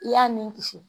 I y'a ni kisi